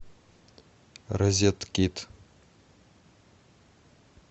розет кит